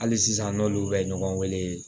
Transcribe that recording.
Hali sisan n'olu bɛ ɲɔgɔn wele